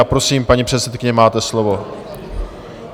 A prosím, paní předsedkyně, máte slovo.